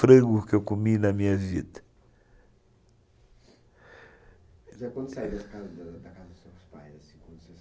frango que eu comi em minha vida pais